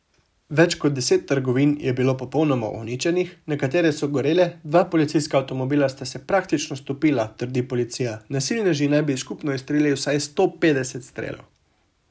Več kot deset trgovin je bilo popolnoma uničenih, nekatere so gorele, dva policijska avtomobila sta se praktično stopila, trdi policija, nasilneži naj bi skupno izstrelili vsaj sto petdeset strelov.